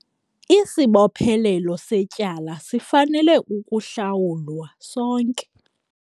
Isibophelelo setyala sifanele ukuhlawulwa sonke.